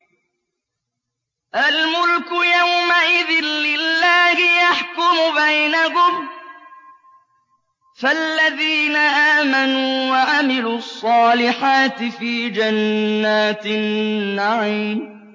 الْمُلْكُ يَوْمَئِذٍ لِّلَّهِ يَحْكُمُ بَيْنَهُمْ ۚ فَالَّذِينَ آمَنُوا وَعَمِلُوا الصَّالِحَاتِ فِي جَنَّاتِ النَّعِيمِ